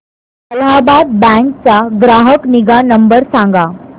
Allahabad Bank चा ग्राहक निगा नंबर सांगा